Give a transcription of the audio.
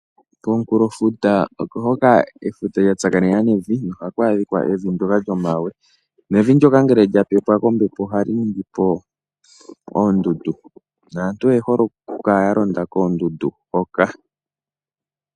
Komukulofuta oko hoka efuta lyatsaakanena nevi, noha ku adhika evi ndyoka lyomawe nevi ndyoka ngele lyapepwa kombepo ohali ningi po oondundu naantu oyehole okukala yalonda koondundu hoka.